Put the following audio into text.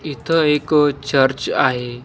इथं एक चर्च आहे.